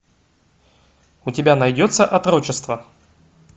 у тебя найдется отрочество